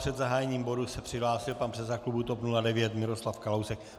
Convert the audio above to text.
Před zahájením bodu se přihlásil pan předseda klubu TOP 09 Miroslav Kalousek.